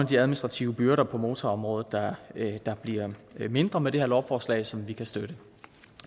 de administrative byrder på motorområdet der bliver mindre med det her lovforslag som vi kan støtte